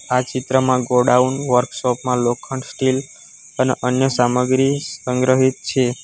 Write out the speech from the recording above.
આ ચિત્રમાં godown workshop માં લોખંડ સ્ટીલ અને અન્ય સામગ્રી સંગ્રહિત છે.